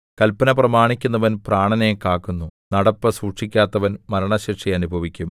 കല്പന പ്രമാണിക്കുന്നവൻ പ്രാണനെ കാക്കുന്നു നടപ്പ് സൂക്ഷിക്കാത്തവൻ മരണശിക്ഷ അനുഭവിക്കും